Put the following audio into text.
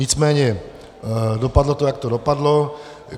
Nicméně dopadlo to, jak to dopadlo.